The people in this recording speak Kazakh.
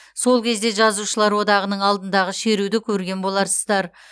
сол кезде жазушылар одағының алдындағы шеруді көрген боларсыздар